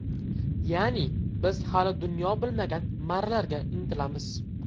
Ya’ni, biz hali dunyo bilmagan marralarga intilamiz.